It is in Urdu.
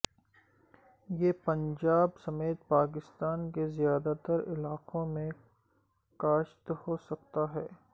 یہ پنجاب سمیت پاکستان کے زیادہ تر علاقوں میں کاشت ہو سکتا ہے